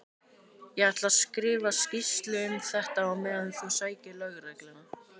Ég ætla að skrifa skýrslu um þetta á meðan þú sækir lögregluna.